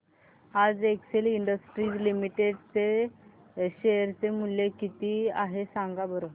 आज Excel Industries Limited चे share चे मूल्य किती आहे सांगा बरं